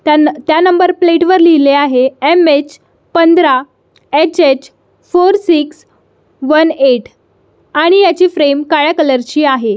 त्यान त्या number plate वर लिहिले आहे एम यच पांढरा H H four six one eight आणि ह्याची फ्रेम काळ्या कलर ची आहे.